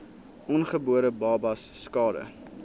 ongebore babas skade